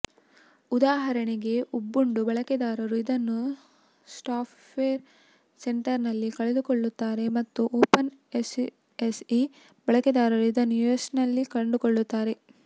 ಉದಾಹರಣೆಗೆ ಉಬುಂಟು ಬಳಕೆದಾರರು ಇದನ್ನು ಸಾಫ್ಟ್ವೇರ್ ಸೆಂಟರ್ನಲ್ಲಿ ಕಂಡುಕೊಳ್ಳುತ್ತಾರೆ ಮತ್ತು ಓಪನ್ ಎಸ್ಯುಎಸ್ಇ ಬಳಕೆದಾರರು ಇದನ್ನು ಯಸ್ಟ್ನಲ್ಲಿ ಕಂಡುಕೊಳ್ಳುತ್ತಾರೆ